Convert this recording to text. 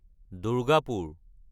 Durgapur